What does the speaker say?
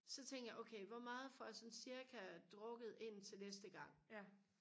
så tænker jeg okay hvor meget får jeg sådan cirka drukket indtil næste gang